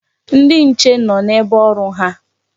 Ndi nche nọ n'ebe ọrụ ha.